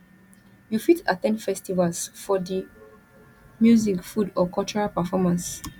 you fit at ten d festivals for di music food or cultural performance